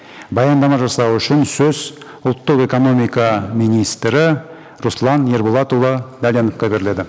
баяндама жасау үшін сөз ұлттық экономика министрі руслан ерболатұлы дәленовқа беріледі